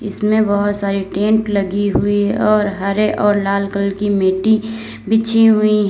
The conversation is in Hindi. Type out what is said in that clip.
इसमें बहुत सारी टेंट लगी हुई है और हरे और लाल कलर की मिट्टी बिछी हुई हैं।